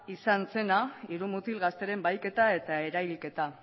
izan zena hiru mutil gazteren bahiketa eta erailketa